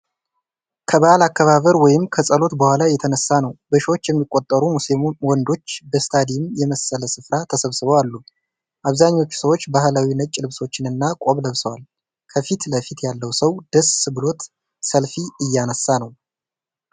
ከበዓል አከባበር ወይም ከጸሎት በኋላ የተነሳ ነው። በሺዎች የሚቆጠሩ ሙስሊም ወንዶች በስታዲየም መሰል ስፍራ ተሰብስበው አሉ። አብዛኞቹ ሰዎች ባህላዊ ነጭ ልብሶችንና ቆብ ለብሰዋል። ከፊት ለፊት ያለው ሰው ደስ ብሎት ሰልፊ እያነሳ ነው።